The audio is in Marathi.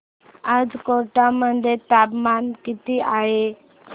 आज कोटा मध्ये तापमान किती आहे